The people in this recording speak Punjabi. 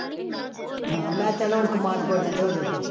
ਹਾਂ ਮੈਂ ਚੱਲ ਹੁਣ ਕਮਾਦ ਗੋਡਣ ਤੇ ਹੋ ਜਾਓ ਫਿਰ